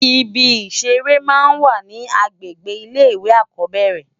Ìbí iṣèré má n wá ni ágbégbé ilé iwé ákòbèrè